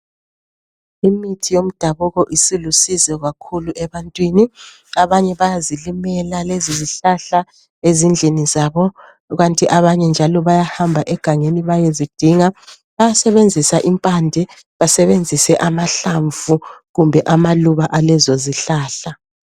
Imithi yomdabuko isilusizo kakhulu ebantwini, abanye bayazilimela lezizihlahla ezindlini zabo kanti abanye njalo bayahamba egangeni bayezidinga. Bayasebenzisa impande basebenzise amahlamvu kumbe amaluba alezozihlahla.